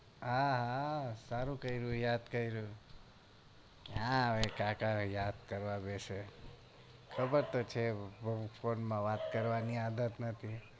આ હા સારું કર્યું યાદ કર્યો ક્યાં હવે કાકા યાદ કરવા બેસે ખબર તો છે phone માં વાત કરવાની આદત નથી